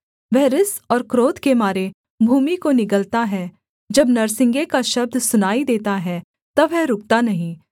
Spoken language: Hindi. वह रिस और क्रोध के मारे भूमि को निगलता है जब नरसिंगे का शब्द सुनाई देता है तब वह रुकता नहीं